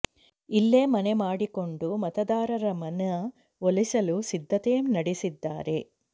ಇಲ್ಲೇ ಮನೆ ಮಾಡಿಕೊಂಡು ಮತದಾರರ ಮನ ಒಲಿಸಲು ಸಿದ್ಧತೆ ನಡೆಸಿದ್ದಾರೆ